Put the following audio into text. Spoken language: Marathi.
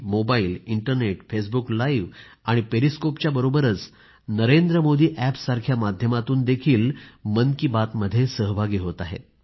मोबाईल इंटरनेट फेसबुक लाइव्ह आणि पेरिस्कोपच्या बरोबरच नरेंद्रमोदीअॅपच्या माध्यमातूनही मन की बात मध्ये सहभागी होत आहेत